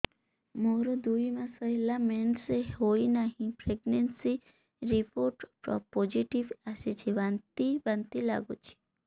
ମୋର ଦୁଇ ମାସ ହେଲା ମେନ୍ସେସ ହୋଇନାହିଁ ପ୍ରେଗନେନସି ରିପୋର୍ଟ ପୋସିଟିଭ ଆସିଛି ବାନ୍ତି ବାନ୍ତି ଲଗୁଛି